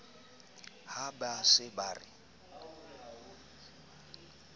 ha ba se ba re